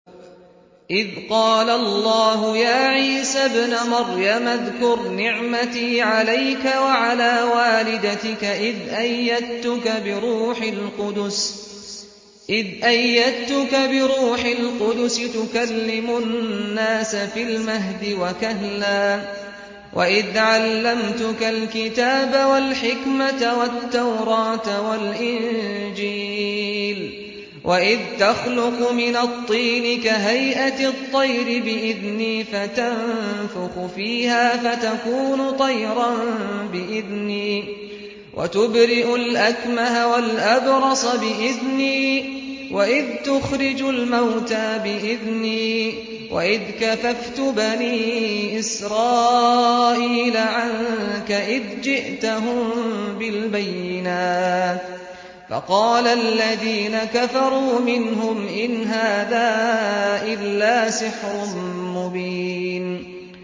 إِذْ قَالَ اللَّهُ يَا عِيسَى ابْنَ مَرْيَمَ اذْكُرْ نِعْمَتِي عَلَيْكَ وَعَلَىٰ وَالِدَتِكَ إِذْ أَيَّدتُّكَ بِرُوحِ الْقُدُسِ تُكَلِّمُ النَّاسَ فِي الْمَهْدِ وَكَهْلًا ۖ وَإِذْ عَلَّمْتُكَ الْكِتَابَ وَالْحِكْمَةَ وَالتَّوْرَاةَ وَالْإِنجِيلَ ۖ وَإِذْ تَخْلُقُ مِنَ الطِّينِ كَهَيْئَةِ الطَّيْرِ بِإِذْنِي فَتَنفُخُ فِيهَا فَتَكُونُ طَيْرًا بِإِذْنِي ۖ وَتُبْرِئُ الْأَكْمَهَ وَالْأَبْرَصَ بِإِذْنِي ۖ وَإِذْ تُخْرِجُ الْمَوْتَىٰ بِإِذْنِي ۖ وَإِذْ كَفَفْتُ بَنِي إِسْرَائِيلَ عَنكَ إِذْ جِئْتَهُم بِالْبَيِّنَاتِ فَقَالَ الَّذِينَ كَفَرُوا مِنْهُمْ إِنْ هَٰذَا إِلَّا سِحْرٌ مُّبِينٌ